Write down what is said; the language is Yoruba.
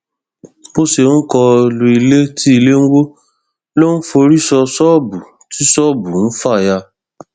bó ṣe ń kọ lu ilé tí ilé ń wọ ló ń forí sọ ṣọọbù tí ṣọọbù ń fà ya